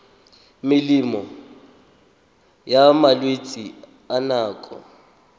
melemo ya malwetse a nako